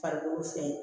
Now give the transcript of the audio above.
Farikolo fɛ